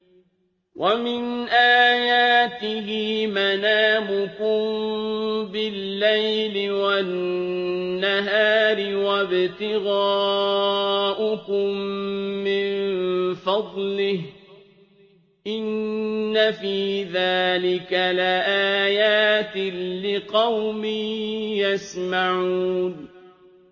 وَمِنْ آيَاتِهِ مَنَامُكُم بِاللَّيْلِ وَالنَّهَارِ وَابْتِغَاؤُكُم مِّن فَضْلِهِ ۚ إِنَّ فِي ذَٰلِكَ لَآيَاتٍ لِّقَوْمٍ يَسْمَعُونَ